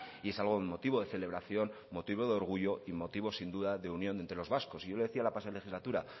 y es algo motivo de celebración motivo de orgullo y motivo sin duda de unión entre los vascos y yo le decía la pasada legislatura